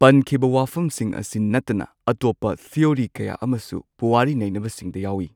ꯄꯟꯈꯤꯕ ꯋꯥꯐꯝꯁꯤꯡ ꯑꯁꯤ ꯅꯠꯇꯅ ꯑꯇꯣꯞꯄ ꯊꯤꯑꯣꯔꯤ ꯀꯌꯥ ꯑꯃꯁꯨ ꯄꯨꯋꯥꯔꯤ ꯅꯩꯅꯕꯁꯤꯡꯗ ꯌꯥꯎꯏ꯫